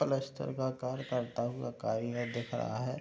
पलस्तर का कार करता हुआ कारीगर दिख रहा है।